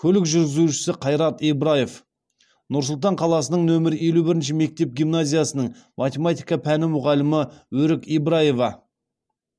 көлік жүргізуші қайрат ибраев нұр сұлтан қаласының нөмірі елу бірінші мектеп гимназиясының математика пәні мұғалімі өрік ибраева